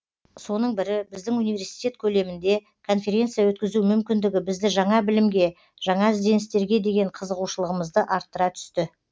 соның бірі біздің университет көлемінде конференция өткізу мүмкіндігі бізді жаңа білімге жаңа ізденістерге деген қызығушылығымызды арттыра түсті